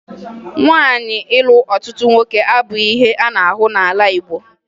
Nwaanyị ịlụ ọtụtụ nwoke abụghị ihe a na-ahụ n'ala Igbo